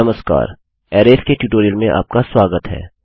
नमस्कार अरैज़सारणियोंके ट्यूटोरियल में आपका स्वागत है